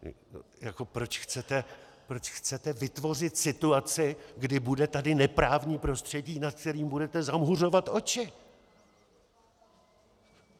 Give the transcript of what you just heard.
Proč chcete vytvořit situaci, kdy tady bude neprávní prostředí, nad kterým budete zamhuřovat oči?